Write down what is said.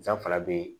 Danfara be ye